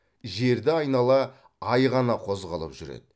жерді айнала ай ғана қозғалып жүреді